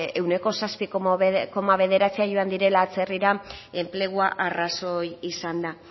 ehuneko zazpi koma bederatzi dira joan direla atzerrira enplegua arrazoi izanda